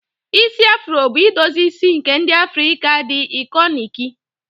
Isi afuro bụ idozi isi nke ndi Afrika dị ikọniki.